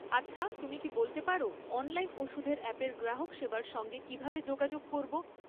আচ্ছা তুমি কি বলতে পারো অনলাইন ওষুধের অ্যাপের গ্রাহক সেবার সঙ্গে কীভাবে যোগাযোগ করব?